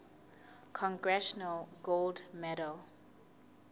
congressional gold medal